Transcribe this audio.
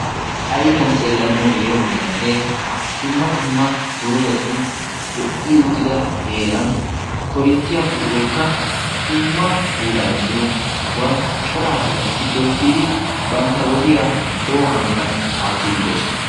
Ayfiyan xeellanau yeemoyyaanne dumma dumma doozatun lo"i uttida heeran korinttiyaa po'oykka tumma pulaa immilo sohuwan coraa asatiissippe uttidi bantta wodiya lo"o hanotan aattiidi doosona